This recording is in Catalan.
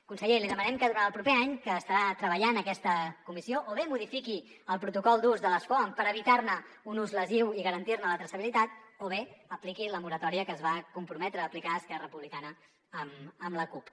conseller li demanem que durant el proper any que estarà treballant aquesta comissió o bé modifiqui el protocol d’ús de les foams per evitar ne un ús lesiu i garantir ne la traçabilitat o bé apliqui la moratòria que es va comprometre a aplicar esquerra republicana amb la cup